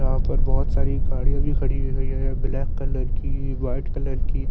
यहाँ पर बहुत सारी गाड़ियाँ भी खड़ी हैं ब्लैक कलर की वाइट कलर की--